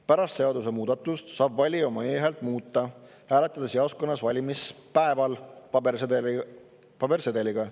Pärast seadusemuudatust saab valija oma e-häält muuta, hääletades jaoskonnas valimispäeval pabersedeliga.